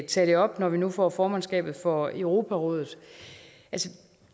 tage det op når vi nu får formandskabet for europarådet